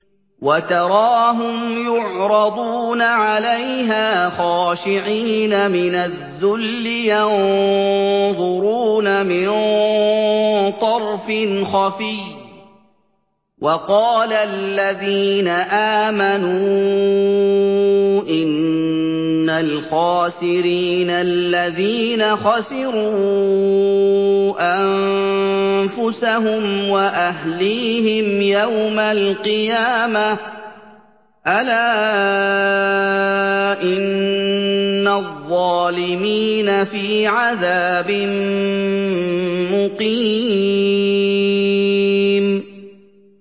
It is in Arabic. وَتَرَاهُمْ يُعْرَضُونَ عَلَيْهَا خَاشِعِينَ مِنَ الذُّلِّ يَنظُرُونَ مِن طَرْفٍ خَفِيٍّ ۗ وَقَالَ الَّذِينَ آمَنُوا إِنَّ الْخَاسِرِينَ الَّذِينَ خَسِرُوا أَنفُسَهُمْ وَأَهْلِيهِمْ يَوْمَ الْقِيَامَةِ ۗ أَلَا إِنَّ الظَّالِمِينَ فِي عَذَابٍ مُّقِيمٍ